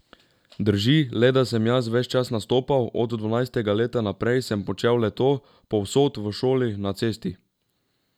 Prav imaš, sem se strinjal.